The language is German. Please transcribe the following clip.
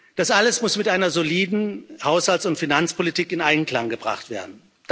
Das alles muss mit einer soliden Haushalts und Finanzpolitik in Einklang gebracht werden.